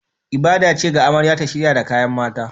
Ibada ce ga amarya ta shirya da kayan mata